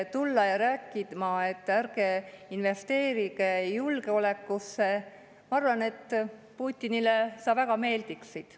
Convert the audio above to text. Tulla rääkima, et ärge investeerige julgeolekusse – ma arvan, et Putinile sa väga meeldiksid.